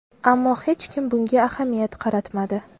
Ammo hech kim bunga ahamiyat qaratmadi.